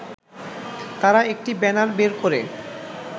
তারা একটি ব্যানার বের করে